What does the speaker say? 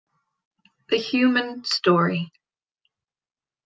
The human story.